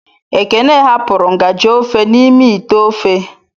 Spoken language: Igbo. Ekene hapụrụ ngaji ofe n'ime ite ofe.